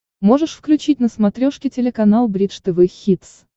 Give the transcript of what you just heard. можешь включить на смотрешке телеканал бридж тв хитс